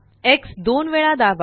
x दोन वेळा दाबा